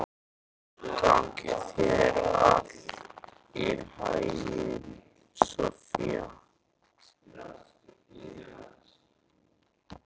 Gangi þér allt í haginn, Soffía.